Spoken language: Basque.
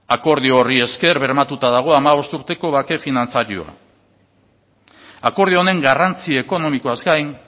akordio horri esker bermatuta dago hamabost urteko bake finantzarioa akordio honen garrantzi ekonomikoaz gain